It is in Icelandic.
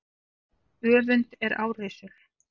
Öfund er árrisul.